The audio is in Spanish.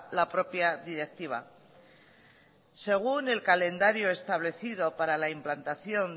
la propia directiva según el calendario establecido para la implantación